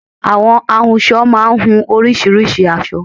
Àwọn ahunsọ máá ń hun oríṣiríṣìí aṣọ